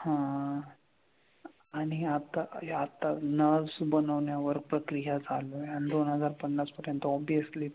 हां. आणि आता या आता nerves बनवण्यावर प्रक्रिया चालू आहे आणि दोन हजार पन्नास पर्यंत obviously